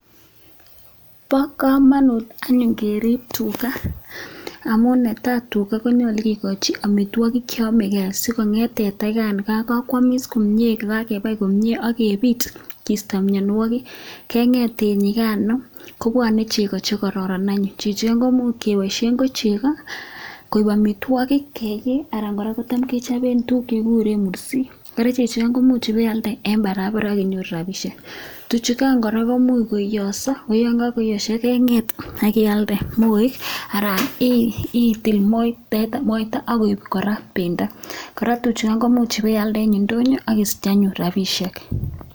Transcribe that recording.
Bo kamanut anyun keriip tuga amun ne tai, tuga konyolu kikochi amitwokik cheyomekei asikonget teta yakan kakwomis komnye kokakebai komnye akepit kiisto mianwokik kengeet eng yikano kobwane chego che kororn any. Chechoto komuch kepoishe ko chego komuch koek amitwokik anan kotam kora kechope tuguk chekikuren mursik. Kora chechot komuch ipealde eng barabara ak inyoru rapishek, tuchukan kora komuch koiyoiso, yon kakoiyoiso kenget ak kialde moeek anan itil teta moita akoip pendo, kora tuchukan komuch kora ipialde eng indonyo akisich kora rapishek.